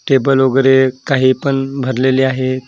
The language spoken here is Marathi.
टेबल वगैरे काही पण भरलेले आहे.